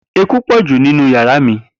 Eku po ju ninu yara mi.